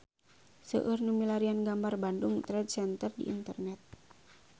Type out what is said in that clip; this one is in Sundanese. Seueur nu milarian gambar Bandung Trade Center di internet